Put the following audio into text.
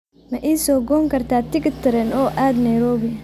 ma ii goosan kartaa tigidh tareen oo aad nairobi